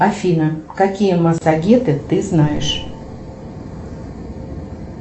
афина какие массагеты ты знаешь